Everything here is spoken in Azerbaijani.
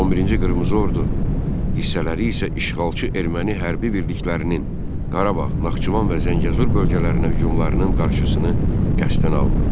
11-ci Qırmızı Ordu hissələri isə işğalçı erməni hərbi birliklərinin Qarabağ, Naxçıvan və Zəngəzur bölgələrinə hücumlarının qarşısını qəsdən almırdı.